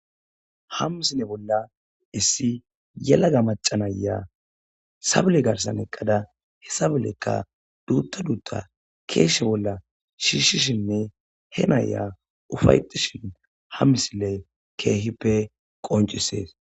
Ha misile bolla issi yelaga macanaya sabule garsan eqqada he sabollekka duutta duutta keeshe bolla shiishshishinne he naya ufayetishin ha misile keehippe qoncisees.